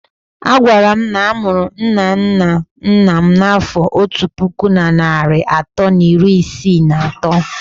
A gwara m na a mụrụ nna nna nna m n'afọ otu puku na narị atọ na iri isii na atọ.